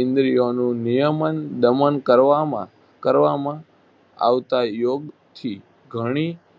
ઈન્દ્રિયોનું નિયમન દમન કરવામાં કરવામાં આવતા યોગથી ઘણી